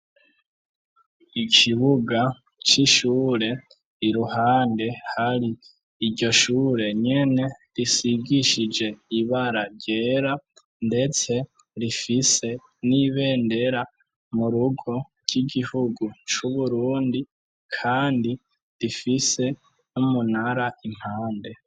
Ikibuga c'ishure iruhande hari iryo shure nyene risigishije ibara ryera, ndetse rifise n'ibendera mu rugo ry'igihugu c'uburundi, kandi rifise umunara impande.